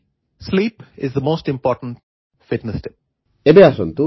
four me sleep is the most important fitness tip